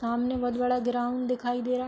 सामने बहोत बड़ा ग्राउंड दिखाई दे रहा है।